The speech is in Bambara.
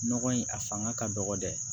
Nɔgɔ in a fanga ka dɔgɔ dɛ